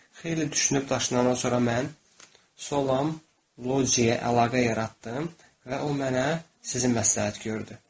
Xeyli düşünüb daşınandan sonra mən Solam Lojiyə əlaqə yaratdım və o mənə sizi məsləhət gördü.